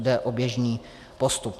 Jde o běžný postup.